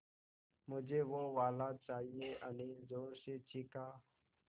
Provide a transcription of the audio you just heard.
मझे वो वाला चाहिए अनिल ज़ोर से चीख़ा